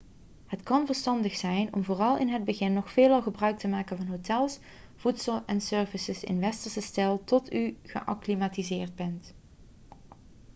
het kan verstandig zijn om vooral in het begin nog veelal gebruik te maken van hotels voedsel en services in westerse stijl tot u geacclimatiseerd bent